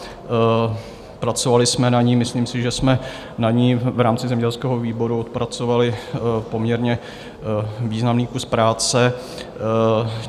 Pracovali jsme na ní, myslím si, že jsme na ní v rámci zemědělského výboru odpracovali poměrně významný kus práce.